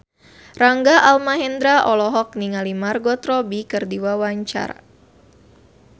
Rangga Almahendra olohok ningali Margot Robbie keur diwawancara